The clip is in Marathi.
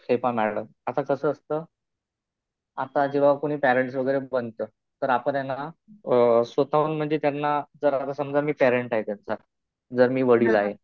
हे पहा मॅडम, आता कसं असतं आता जेव्हा कुणी पॅरेण्टस वगैरे बनतं तर आपण त्यांना स्वतःहून म्हणजे त्यांना जर आता समजा मी पॅरेण्ट आहे त्यांचा. जर मी वडील आहे.